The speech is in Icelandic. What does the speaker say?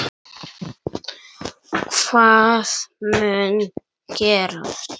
Hvað mun gerast?